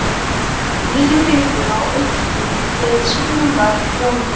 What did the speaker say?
Línuritið á einkum við sunnanvert landið.